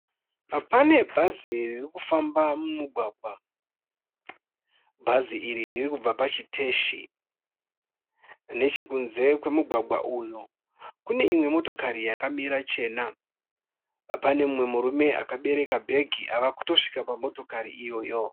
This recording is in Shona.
Pane bhazi riri kufamba mumugwagwa, bhazi iri riri kubva pachiteshi. Nechekunze kwemugwagwa uyu kune imwe motokari yakamira chena. Pane umwe murume akabereka bhegi ava kutosvika pamitokari iyoyo.